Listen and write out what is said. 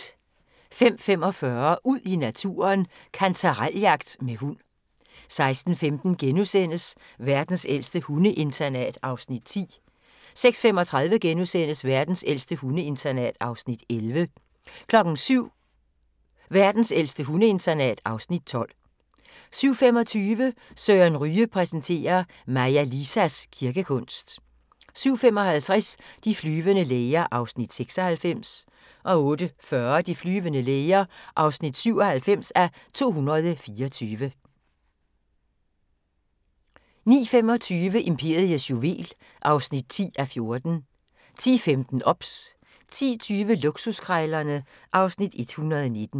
05:45: Ud i naturen: Kantarel-jagt med hund 06:15: Verdens ældste hundeinternat (Afs. 10)* 06:35: Verdens ældste hundeinternat (Afs. 11)* 07:00: Verdens ældste hundeinternat (Afs. 12) 07:25: Søren Ryge præsenterer: Maja Lisas kirkekunst 07:55: De flyvende læger (96:224) 08:40: De flyvende læger (97:224) 09:25: Imperiets juvel (10:14) 10:15: OBS 10:20: Luksuskrejlerne (Afs. 119)